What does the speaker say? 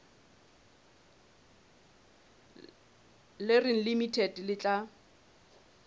le reng limited le tla